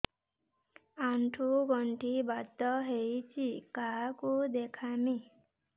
ଆଣ୍ଠୁ ଗଣ୍ଠି ବାତ ହେଇଚି କାହାକୁ ଦେଖାମି